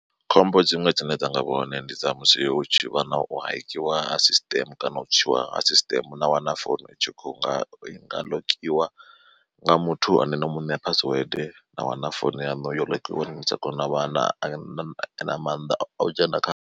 Khombo dziṅwe dzine dza nga vha hone ndi dza musi hu tshi vha na u hekiwa ha sisiṱeme kana u tswiwa ha sisiṱeme na wana phone itshi kho nga i nga ḽokiwa nga muthu ane no muṋea password na wana founu yanu yo ḽokiwa ni sa tsha kona u vha na na maanḓa a u dzhena kha.